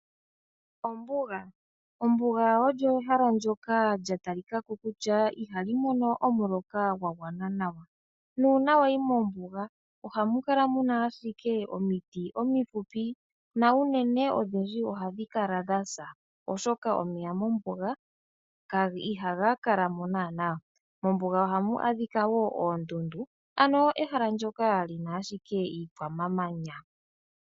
Ombuga olyo ehala ndjoka lya talika ko kutya ihali mono omuloka gwa gwana nawa. Nuuna wayi mombuga ohamu kala ashike muna omiti omifupi, na unene odhindji ohadhi kala dhasa, oshoka omeya mombuga ihaga kala mo nanaa. Mombuga ohamu adhika wo oondundu, ano ehala ndjoka lina ashike iikwamanya.